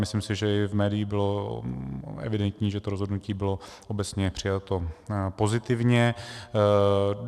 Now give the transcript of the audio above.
Myslím si, že i v médiích bylo evidentní, že to rozhodnutí bylo obecně přijato pozitivně.